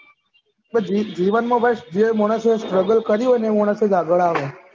જીવન માં બસ જે માનશે struggle કરી હોય મોણસ અજ આગળ આવે